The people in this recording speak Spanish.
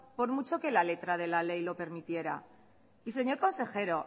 por mucho que la letra de la ley lo permitiera y señor consejero